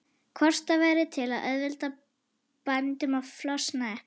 Hvort það væri til að auðvelda bændum að flosna upp?